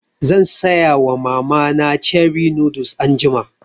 Zan saya wa mama na cherie noodles anjima